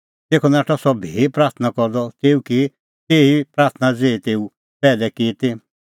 तेखअ नाठअ सह भी प्राथणां करदअ तेऊ की तेही ई प्राथणां ज़ेही तेऊ पैहलै की ती